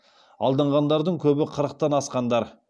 алданғандардың көбі қырықтан асқандар